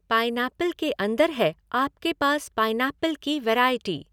Pineapple के अंदर है, आपके पास, पाइनऐप्पल की वैरायटी।